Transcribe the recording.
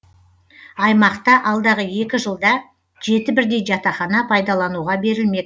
аймақта алдағы екі жылда жеті бірдей жатақхана пайдалануға берілмек